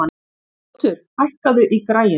Ljótur, hækkaðu í græjunum.